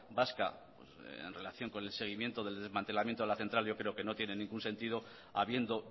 vasca en relación con el seguimiento de desmantelamiento de la central yo creo que no tiene ningún sentido habiendo